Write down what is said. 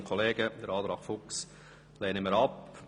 Wir lehnen den Antrag Fuchs ab.